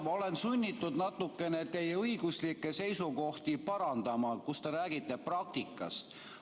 Ma olen sunnitud natukene teie õiguslikke seisukohti parandama, kui te räägite praktikast.